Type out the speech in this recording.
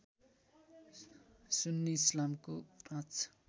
सुन्नी इस्लामको ५